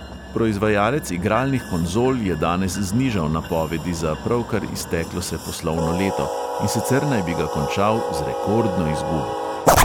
Proizvajalec igralnih konzol je danes znižal napovedi za pravkar izteklo se poslovno leto, in sicer naj bi ga končal z rekordno izgubo.